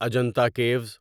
Ajanta caves